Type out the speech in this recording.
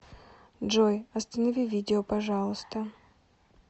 джой останови видео пожалуйста